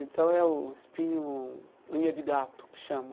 Então é o espinho-unha-de-gato, que chama.